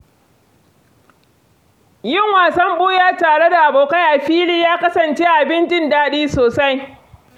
Yin wasan ɓuya tare da abokai a fili ya kasance abin jin daɗi sosai.